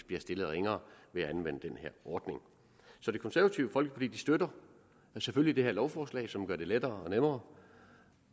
bliver stillet ringere ved at anvende den her ordning så det konservative folkeparti støtter selvfølgelig det her lovforslag som gør det lettere og nemmere